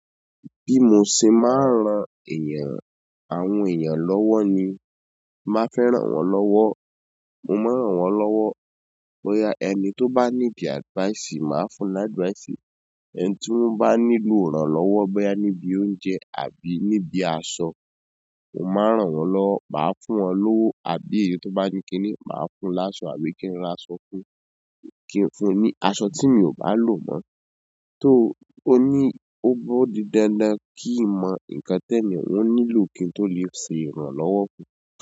Bí mo ṣe máa ń ran èèyàn, àwọn èèyàn lọ́wọ́ ni, máa fẹ́ ràn wọ́n lọ́wọ́, mo máa ràn wọ́n lọ́wọ́. Bóyá ẹni tó bá ní ìdí advice, màá fún ní advice. Ẹni tí wọ́n bá nílò ìrànlọ́wọ́, bóyá níbi oúnjẹ àbí níbi aṣọ, mo máa ràn wọ́n lọ́wọ́, màá fún wọn lówó. Àbí èyí tó bá ní kíní, màá fún láṣọ àbí kí n ra aṣọ fún un, kí n fún un ní aṣọ tí mi ò bá lo mọ́. Tó ó ní, ó dí dandan kí í mọ ǹnkan tẹni n nílò kí n tó lè ṣe ìrànlọ́wọ́ fún un.